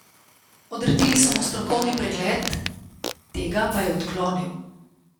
Odredili so mu strokovni pregled, tega pa je odklonil.